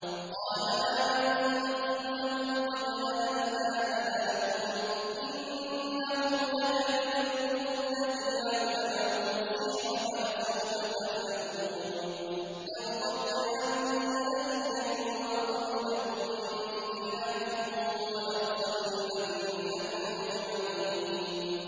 قَالَ آمَنتُمْ لَهُ قَبْلَ أَنْ آذَنَ لَكُمْ ۖ إِنَّهُ لَكَبِيرُكُمُ الَّذِي عَلَّمَكُمُ السِّحْرَ فَلَسَوْفَ تَعْلَمُونَ ۚ لَأُقَطِّعَنَّ أَيْدِيَكُمْ وَأَرْجُلَكُم مِّنْ خِلَافٍ وَلَأُصَلِّبَنَّكُمْ أَجْمَعِينَ